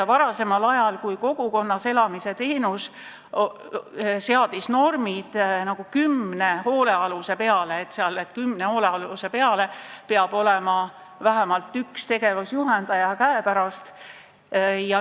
Varasemal ajal olid kogukonnas elamise teenuse puhul normid kümne hoolealuse peale, nii et kümne hoolealuse peale pidi olema vähemalt üks tegevusjuhendaja käepärast.